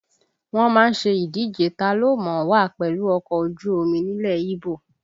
Wọ́n má ń ṣe ìdíje ta ló mọ̀ ọ́ wà pẹ̀lú ọkọ̀ ojú omi nílẹ̀ Íbò